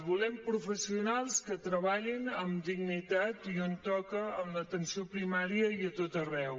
volem professionals que treballin amb dignitat i on toca en l’atenció primària i a tot arreu